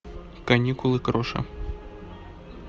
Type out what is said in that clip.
каникулы кроша